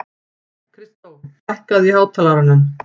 Kristó, lækkaðu í hátalaranum.